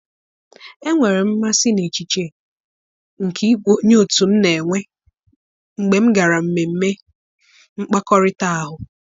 enwere m mmasị n 'echiche nke ịbụ onye otu m na-enwe mgbe m gara mmemme mkpakọrịta ahụ.